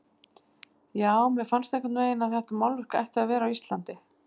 Já, mér fannst einhvern veginn að þetta málverk ætti að vera á Íslandi.